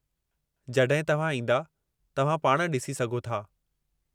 जड॒हिं तव्हां ईंदा, तव्हां पाण डि॒सी सघो था।